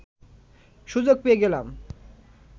সুযোগ পেয়ে গেলাম